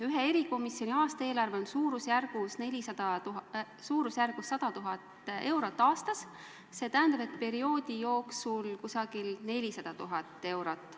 Ühe erikomisjoni aastaeelarve on suurusjärgus 100 000 eurot, st kogu koosseisu ametiaja jooksul kuskil 400 000 eurot.